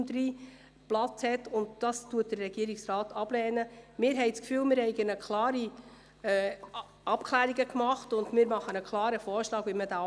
Sie haben der Planungserklärung zugestimmt mit 109 Ja- zu 30 Nein-Stimmen bei 7 Enthaltungen.